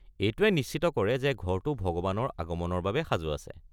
এইটোৱে নিশ্চিত কৰে যে ঘৰটো ভগৱানৰ আগমনৰ বাবে সাজু আছে।